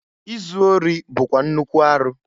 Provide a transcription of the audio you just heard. Izu ori bụkwa nnukwu arụ.